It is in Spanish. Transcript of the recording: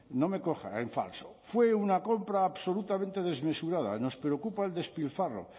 no me coja en falso fue una compra absolutamente desmesurada nos preocupa el despilfarro